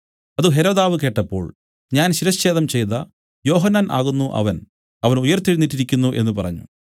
അത് ഹെരോദാവ് കേട്ടപ്പോൾ ഞാൻ ശിരച്ഛേദം ചെയ്ത യോഹന്നാൻ ആകുന്നു അവൻ അവൻ ഉയിർത്തെഴുന്നേറ്റിരിക്കുന്നു എന്നു പറഞ്ഞു